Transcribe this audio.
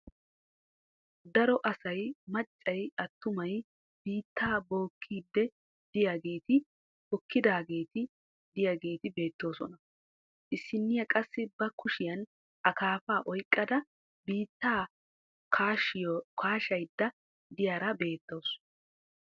Daro asay maccay attumay biittaa bookkiiddi diyageeti hokkidaageeti diyageeti beettoosona. Issinniya qassi ba kushiyan akaafaa oyikkada biittaa kaashayidda diyara beettawusu.